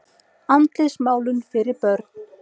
Andlitsmálun fyrir börnin.